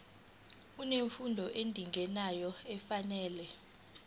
unemfundo edingekayo nefanele